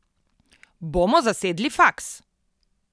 Bomo zasedli faks!